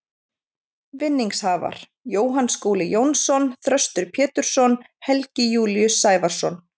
Vinningshafar: Jóhann Skúli Jónsson Þröstur Pétursson Helgi Júlíus Sævarsson